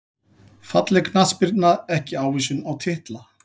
Falleg knattspyrna ekki ávísun á titla